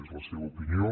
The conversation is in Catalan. és la seva opinió